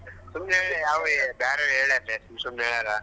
ಸುಮ್ನೆ ಬೇರೇವ್ರ್ ಹೇಳ್ಯಾರ್ ಲೆ ಸುಮ್ನೆ ಏನಾರ.